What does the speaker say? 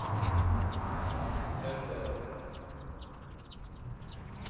hevder